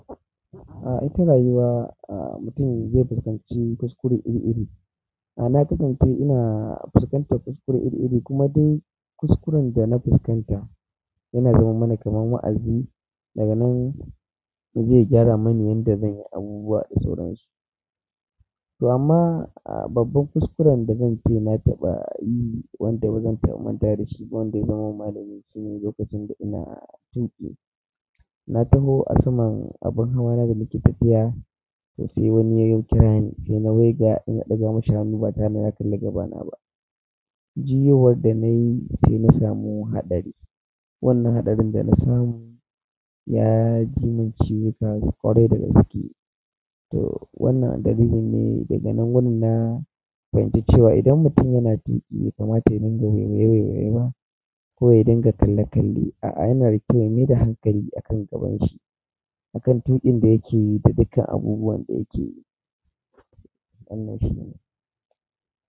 A ita rayuwa a mutum zai fuskanci kuskure iri-iri. A na kasance ina fuskanta kuskure iri-iri kuma daikuskuren da na fuskanta yana zama mana kamar wa'azi daga nan mu je gyara manyan da zan yi abubuwa da sauransu. To amma a babban kuskuren da zan ce na taɓa yi wanda bazan taɓa manta da shi ba wanda ya zama malamini shine lokacin da ina tuƙi na taho a saman abin hawa na da ni ke tafiya to sai wani ya yau kira ni sai na waiga ina ɗaga mashi hannu ba tare da na kalle gabana ba. Jiyowa da na yi sai na samu hatsari. Wannan hatsari da na samu ya ji mun ci wuta ƙwarai da gaskiye to wannan dalilin ne daga nan wannan fahimce cewa idan mutum yana tuƙi ba kamata ya dinga here here ba ko ya dinga kali kali a a yana da kyau ya mai da hankali a kan gaban shi akan tuƙin da yake yi da dukan abubuwan da yake yi.